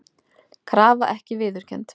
Krafa ekki viðurkennd